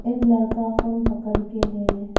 एक लड़का फोन पकड़के है।